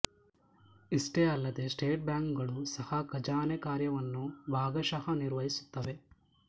ಇಷ್ಟೇ ಅಲ್ಲದೆ ಸ್ಟೇಟ್ ಬ್ಯಾಂಕುಗಳು ಸಹ ಖಜಾನೆ ಕಾರ್ಯವನ್ನು ಭಾಗಶಃ ನಿರ್ವಹಿಸುತ್ತವೆ